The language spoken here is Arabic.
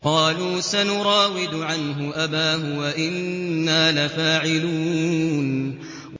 قَالُوا سَنُرَاوِدُ عَنْهُ أَبَاهُ وَإِنَّا لَفَاعِلُونَ